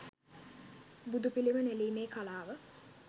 බුදුපිළිම නෙළීමේ කලාව